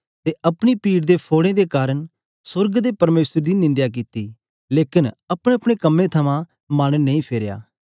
ते अपनी पीड़ ते फोड़ें दे कारन सोर्ग दे परमेसर दी निंदया कित्ती लेकन अपनेअपने कम्में थमां मन नेई फेरेया